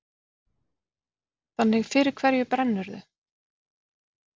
Þannig fyrir hverju brennurðu?